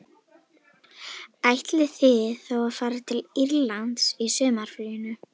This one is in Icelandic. Ætlið þið þá að fara til Írlands í sumarfríinu